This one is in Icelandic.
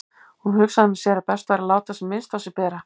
Hún hugsaði með sér að best væri að láta sem minnst á sér bera.